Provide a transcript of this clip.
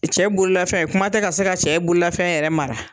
Cɛ bololafɛn kuma tɛ ka se ka cɛ bololafɛn yɛrɛ mara.